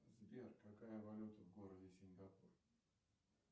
сбер какая валюта в городе сингапур